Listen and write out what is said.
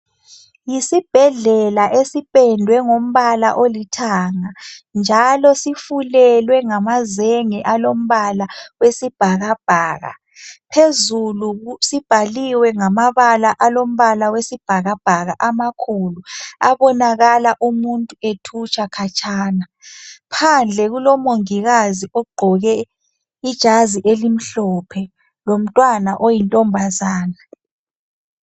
Yisibhedlela esipendwe ngombala olithanga njalo sifulelwe ngamazenge alombala wesibhakabhaka. Phezulu sibhaliwe ngamabala alombala wesibhakabhaka amakhulu abonakala umuntu ethutsha khatshana. Phandle kulomongikazi ogqoke ijazi elimhlophe lomntwana oyintombazana.